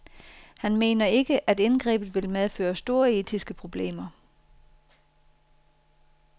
Han mener ikke, at indgrebet vil medføre store etiske problemer.